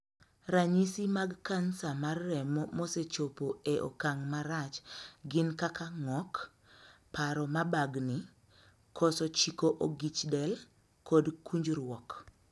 Ranyisi mag kansa mar remo mosechopo e okang' marach gin kaka ng'ok, paro mabagni, koso chiko ogich del, kod kunjruok.